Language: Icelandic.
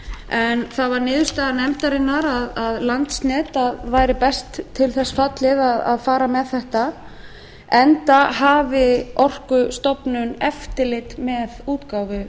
en það varð niðurstaða nefndarinnar að landsnet væri best til þess fallið að fara með þetta enda hafi orkustofnun eftirlit með útgáfu